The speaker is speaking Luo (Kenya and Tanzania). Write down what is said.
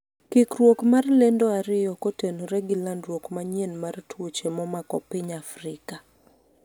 kikruok mar lendo ariyo kotenore gi landruok manyien mar tuoche momako piny Afrika